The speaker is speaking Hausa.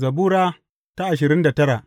Zabura Sura ashirin da tara